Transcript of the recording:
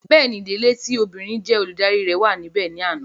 Bẹ́ẹ̀ni, ìdílé tí obìnrin jé Olùdarí rẹ̀ wà níbè ní àná